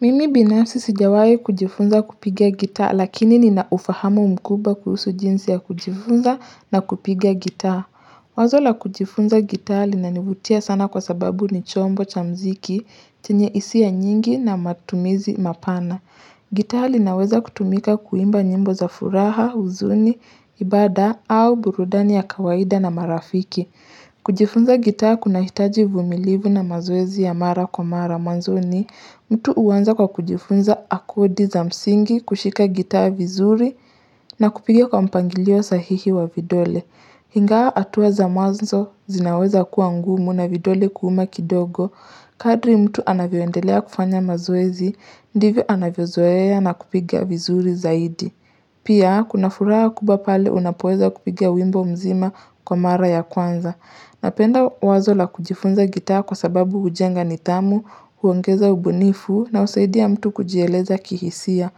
Mimi binasi sijawahi kujifunza kupigia gitaa, lakini ninaufahamu mkubwa kuhusu jinsi ya kujifunza na kupiga gitaa Wazo la kujifunza gitaa, linanivutia sana kwa sababu ni chombo cha mziki, chenye hisia nyingi na matumizi mapana gitaa linaweza kutumika kuimba nyimbo za furaha, huzuni, ibada au burudani ya kawaida na marafiki kujifunza gitaa kunahitaji uvumilivu na mazoezi ya mara kwa mara mwanzoni mtu huanza kwa kujifunza akodi za msingi, kushika gitaa vizuri, na kupigia kwa mpangilio sahihi wa vidole Ingawa hatua za mwanzo zinaweza kuwa ngumu na vidole kuuma kidogo Kadri mtu anavyoendelea kufanya mazoezi, ndivyo anavyozoea na kupiga vizuri zaidi Pia, kuna furaha kubwa pale unapoweza kupiga wimbo mzima kwa mara ya kwanza. Napenda wazo la kujifunza gitaa kwa sababu hujenga nidhamu, huongeza ubunifu na husaidia mtu kujieleza kihisia.